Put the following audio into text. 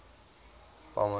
bomber